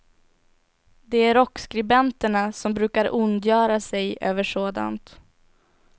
Det är rockskribenterna som brukar ondgöra sig över sådant.